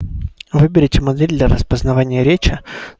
выберите модель для распознавания речи